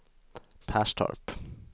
Perstorp